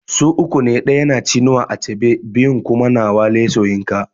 Su uku ne ɗaya na Chinua Achebe biyun kuma na Wole Soyinka